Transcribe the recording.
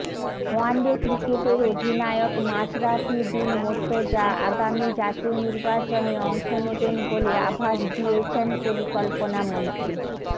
one day ক্রিকেটের অধিনায়ক মাশরাফী বিন মোর্ত্তজা আগামী জাতীয় নির্বাচনে অংশ নেবেন বলে আভাস দিয়েছেন পরিকল্পনামন্ত্রী